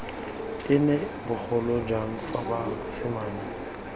ene bogolo jang fa basimane